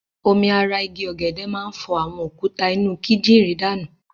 Omi ara igi ọ̀gẹ̀dè máa ń fọ àwọn òkúta inú kídìrí danù.